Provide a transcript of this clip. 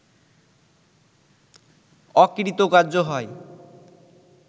অকৃতকার্য হয়